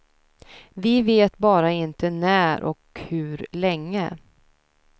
Vi vet bara inte när och hur länge.